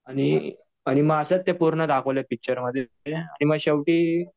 आणि मग असंच ते पूर्ण दाखवलेत पिक्चरमध्ये की मग शेवटी.